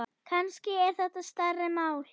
Kannski er þetta stærra mál.